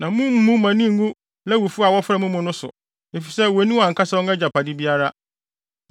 Na mummu mo ani ngu Lewifo a wɔfra mo mu no so, efisɛ wonni wɔn ankasa wɔn agyapade biara.